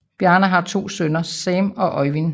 Bjarne har to sønner Sam og Øjvind